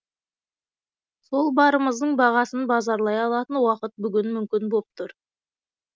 сол барымыздың бағасын базарлай алатын уақыт бүгін мүмкін боп тұр